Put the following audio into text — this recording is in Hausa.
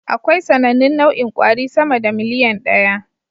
Akwai sanannun nau'in kwari sama da miliyan ɗaya